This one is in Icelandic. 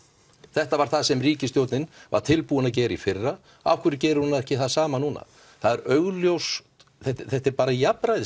þetta var það sem ríkisstjórnin var tilbúin að gera í fyrra af hverju gerir hún ekki það sama núna þetta er bara